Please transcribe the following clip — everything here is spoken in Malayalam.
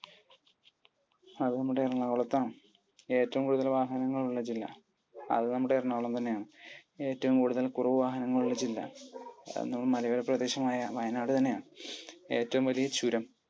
അത് നമ്മുടെ എറണാകുളത്താണ്. ഏറ്റവും കൂടുതൽ വാഹനങ്ങൾ ഉള്ള ജില്ല? അത് നമ്മുടെ എറണാകുളം തന്നെയാണ്. ഏറ്റവും കൂടുതൽ കുറവ് വാഹനങ്ങൾ ഉള്ള ജില്ല? അത് നമ്മുടെ മലയോര പ്രദേശമായ വയനാട് തന്നെയാണ്. ഏറ്റവും വലിയ ചുരം.